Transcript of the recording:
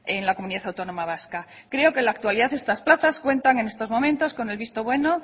en la comunidad autónoma vasca creo que en la actualidad estas plazas cuentan en estos momentos con el visto bueno